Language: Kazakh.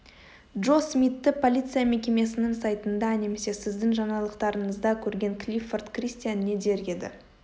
джо смитты полиция мекемесінің сайтында немесе сіздің жаңалықтарыңызда көрген клиффорд кристиан не дер еді